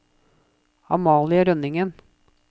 Amalie Rønningen